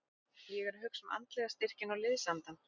Ég er að hugsa um andlega styrkinn og liðsandann.